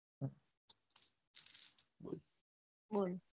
બોલ